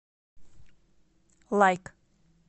лайк